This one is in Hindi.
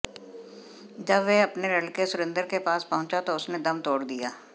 जब वह अपने लड़के सुरेंद्र के पास पहुंचा तो उसने दम तोड़ दिया